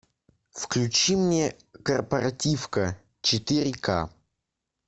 включи мне корпоративка четыре ка